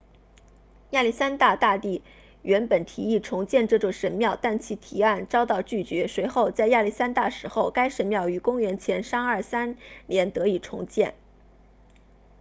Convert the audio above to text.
亚历山大大帝原本提议重建这座神庙但其提案遭到拒绝随后在亚历山大死后该神庙于公元前323年得以重建